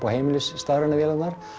á heimilis stafrænu vélarnar